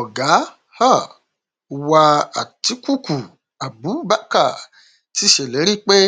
ọgá um wa àtikukú abubakar ti sèlérí pé